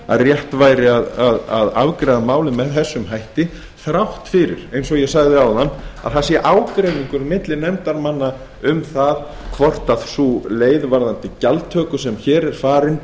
að rétt væri að afgreiða málið með þessum hætti þrátt fyrir eins og ég sagði áðan að ágreiningur sé milli nefndarmanna um þá leið sem hér er farin